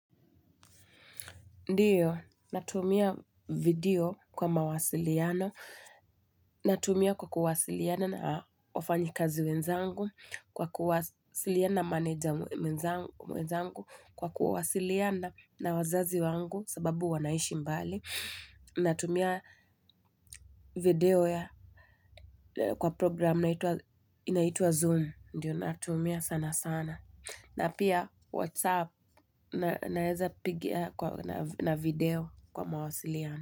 Ndiyo, natumia video kwa mawasiliano, natumia kwa kuwasiliana na wafanyi kazi wenzangu, kwa kuwasiliana na maneja wenzangu, kwa kuwasiliana na wazazi wangu sababu wanaishi mbali, natumia video kwa programu inaitwa Zoom, ndiyo natumia sana sana. Na pia WhatsApp naeza piga na video kwa mawasiliano.